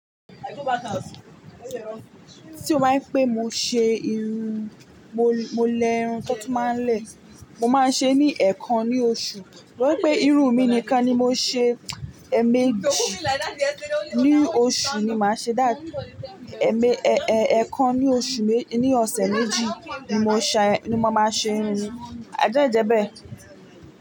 Tí o bá ń pé mo ṣe irun, mo, mo lẹ irun tó tún máa ń lẹ̀. Mo máa ń ṣe ní ẹẹkan ní oṣù. Bí pé irun mi nìkan ni mo ṣe, ẹẹ̀mẹ́jì ní oṣù ni màá ṣe. That ẹẹ̀mẹ́, ẹẹkan ní oṣù, ní ọ̀sẹ̀ méjì ni mo ṣẹ, ni mo máa ṣe irun. A jẹ́ ìjẹ́bẹ́?